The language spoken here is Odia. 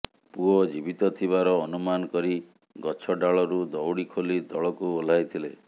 ପୁଅ ଜୀବିତ ଥିବାର ଅନୁମାନ କରି ଗଛ ଡାଳରୁ ଦଉଡି ଖୋଲି ତଳକୁ ଓହ୍ଲାଇଥିଲେ